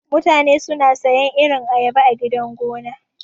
Mutane suna sayan irin ayaba a gidan gona.